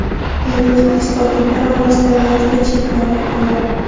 Endi o‘zbekistonliklar orasida Latviya chempioni ham bor.